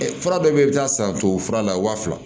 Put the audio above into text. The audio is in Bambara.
fura dɔ bɛ yen i bɛ taa san tubabu fura la waa fila